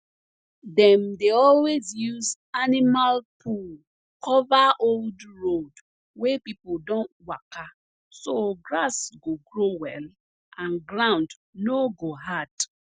dem dey always use animal poo cover old road wey people don waka so grass go grow well and ground no go hard